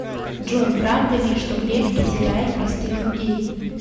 джой правда ли что греф презирает простых людей